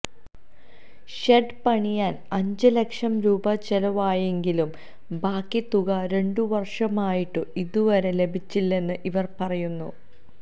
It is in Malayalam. ഷെഡ് പണിയാന് അഞ്ചു ലക്ഷം രൂപ ചിലവായെങ്കിലും ബാക്കി തുക രണ്ടു വര്ഷമായിട്ടും ഇതുവരെ ലഭിച്ചില്ലെന്നും ഇവര് പറയുന്നു